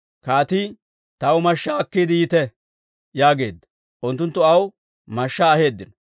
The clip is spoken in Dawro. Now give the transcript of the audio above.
Kaatii, «Taw mashshaa akkiide yiite» yaageedda; unttunttu aw mashshaa aheeddino.